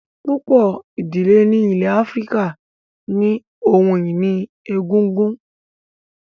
Púpọ̀ ìdílé ní ilẹ̀ Áfíríkà ní ohun ìní egungun